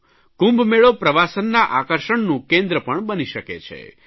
કુંભમેલો પ્રવાસનના આકર્ષનું કેન્દ્ર પણ બની શકે છે